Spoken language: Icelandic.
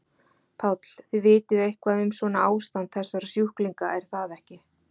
Páll: Þið vitið eitthvað um svona ástand þessara sjúklinga er það ekki?